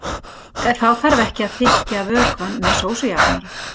Þá þarf ekki að þykkja vökvann með sósujafnara.